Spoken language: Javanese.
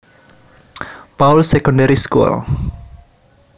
Pauls Secondary School